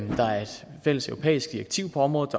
fælles europæisk direktiv på området